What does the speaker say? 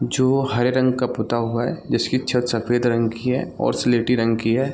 जो हरे रंग का पूता हुआ है जिसकी छत सफ़ेद रंग की है और सिलेटी रंग की है।